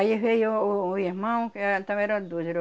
Aí veio o irmão, que éh, também eram dois, era o